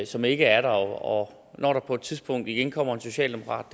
som ikke er der og når der på et tidspunkt igen kommer en socialdemokrat